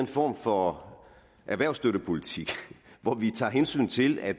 form for erhvervsstøttepolitik hvor vi tager hensyn til at